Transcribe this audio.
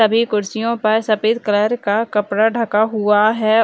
सभी कुर्सियो पर सफ़ेद कलर का कपड़ा ढका हुआ है।